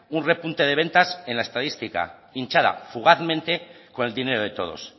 un repunte de ventas en la estadística hinchada fugazmente con el dinero de todos